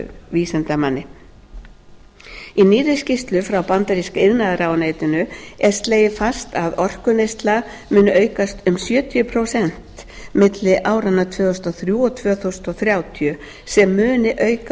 vísindamanni í nýrri skýrslu frá bandaríska iðnaðarráðuneytinu er slegið föstu að orkuneysla muni aukast um sjötíu prósent milli áranna tvö þúsund og þrjú og tvö þúsund þrjátíu sem muni auka